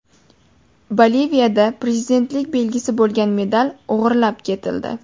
Boliviyada prezidentlik belgisi bo‘lgan medal o‘g‘irlab ketildi.